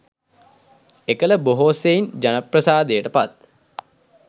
එකළ බොහෝ සෙයින් ජනප්‍රසාදයට පත්